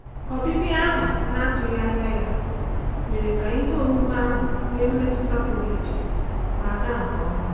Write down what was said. Ọbịbịa ahụ na-atụghị anya ya mere ka ihe omume ahụ nwee mmetụ pụrụ iche ma ga nke ọma.